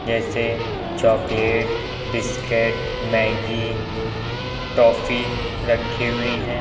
जैसे chocolate biscuit Maggi toffee रखी हुई हैं।